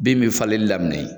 Bin min falenli daminɛ